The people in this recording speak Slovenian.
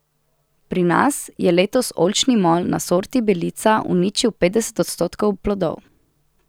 Pri nas je letos oljčni molj na sorti belica uničil petdeset odstotkov plodov.